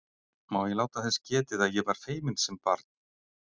Má ég láta þess getið að ég var feiminn sem barn?